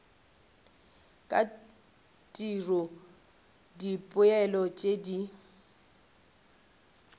ka tiro dipoelo tšeo di